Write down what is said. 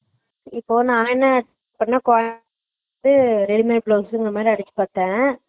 இப்ப நா வேண்ணா என்ன குவால் உம் readymade ல வேச்சிருந்தமாரி அடிக்கி பாத்தே